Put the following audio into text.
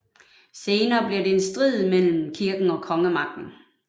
Senere blev det til en strid mellem kirken og kongemagten